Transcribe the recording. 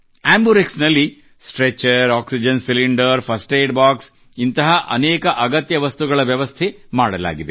ಆಂಬುರೆಕ್ಸ್ ನಲ್ಲಿ stretcher oxygen cylinder first aid box ನಂತಹ ಅನೇಕ ಅಗತ್ಯ ವಸ್ತುಗಳ ವ್ಯವಸ್ಥೆ ಮಾಡಲಾಗಿದೆ